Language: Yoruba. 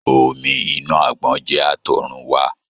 Omi inú àgbọn jẹ́ àtọ̀rún wá.